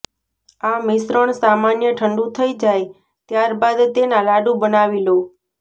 આ મિશ્રણ સામાન્ય ઠંડુ થઇ જાય ત્યારબાદ તેના લાડૂ બનાવી લો